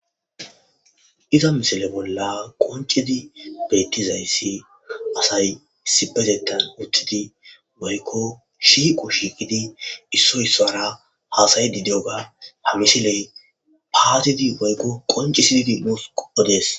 Iza misile bolla qonccidi beettizayssi asay issipetettan uttidi woykko shiiqo shiiqidi issoy issuwara haasayidi de7oga ha misiley paatidi waykko qonccisidi nuus odees.